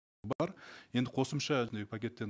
бар енді қосымша пакеттен